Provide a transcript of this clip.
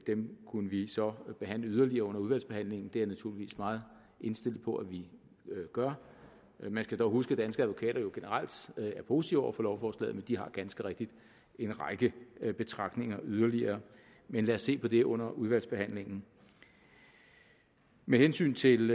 dem kunne vi så behandle yderligere under udvalgsbehandlingen det er jeg naturligvis meget indstillet på at vi gør man skal dog huske at danske advokater jo generelt er positive over for lovforslaget men de har ganske rigtigt en række betragtninger yderligere men lad os se på det under udvalgsbehandlingen med hensyn til